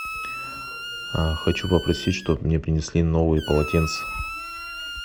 хочу попросить чтобы мне принесли новые полотенца